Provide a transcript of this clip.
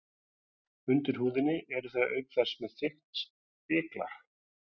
Undir húðinni eru þau auk þess með þykkt spiklag.